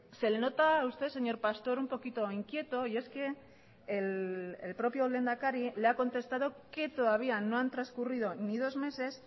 se le nota a usted señor pastor un poquito inquieto y es que el propio lehendakari le ha contestado que todavía no han transcurrido ni dos meses